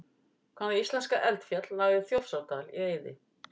Hvaða íslenska eldfjall lagði Þjórsárdal í eyði?